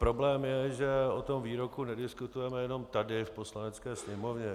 Problém je, že o tom výroku nediskutujeme jen tady v Poslanecké sněmovně.